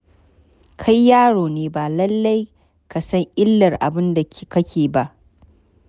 Kai yaro ne, ba lallai ka san illar abin da kake ba.